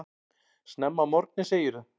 Snemma að morgni segirðu.